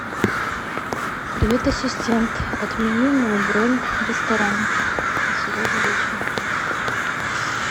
привет ассистент отмени мою бронь в ресторане на сегодня вечером